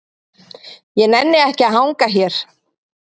Ég nenni ekki að hanga hér.